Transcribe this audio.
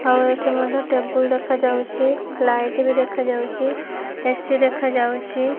ଆଉ ଏଠି ମଧ୍ୟ ଟେବୁଲ୍ ଦେଖାଯାଉଛି। ଲାଇଟ୍ ବି ଦେଖାଯାଉଛି। ଏ_ସି ଦେଖାଯାଛି।